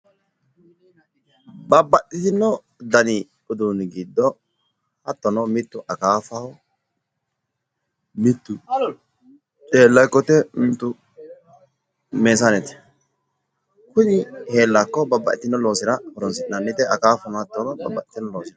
Babaxitino dani uduunni giddo hattono mittu akaafaho, mittu heelakkote, mitu meesanete. Kuni heelakko babbaxino loosira horonsi'nanite, akaafano hatto babbaxino loosira horonsi'nanni.